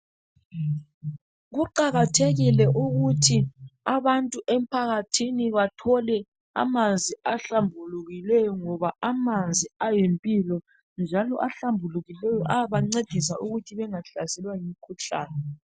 Kuqakathekile ukuthi abantu emphakathini bathole amanzi ahlambulukileyo ngoba amanzi ayimpilo, njalo ahlambulukileyo ayabancedisa ukuthi bengahlaselwa yimikhuhlane.